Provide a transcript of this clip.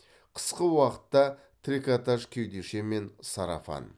қысқы уақытта трикотаж кеудеше мен сарафан